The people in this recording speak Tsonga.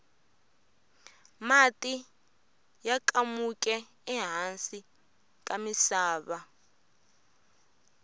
mati ya kamuke ehasi ka misava